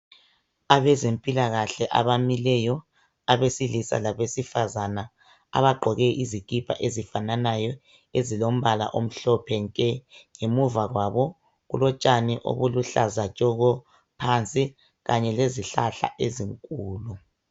Abezempilakahle abamileyo abesilisa labesifazana abagqoke izikipa ezifananayo ezilombala omhlophe nkengemuva kwabo kulotshani obuluhlaza tshoko Kanye lezihlahla ezinkulu